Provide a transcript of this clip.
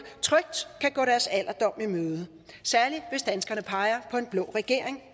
trygt kan gå deres alderdom i møde særlig hvis danskerne peger på en blå regering